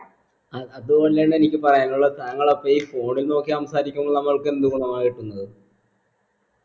അഹ് അത് കൊണ്ടന്നെ എനിക്ക് പറയാനുള്ളെ താങ്കൾ അപ്പൊ ഈ phone ൽ നോക്കി സംസാരിക്കുമ്പൾ താങ്കൾക്ക് എന്ത് ഗുണമാ കിട്ടുന്നത്